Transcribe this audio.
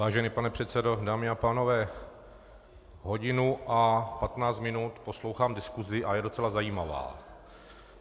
Vážený pane předsedo, dámy a pánové, hodinu a patnáct minut poslouchám diskusi a je docela zajímavá.